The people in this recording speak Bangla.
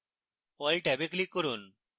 all ট্যাবে click করুন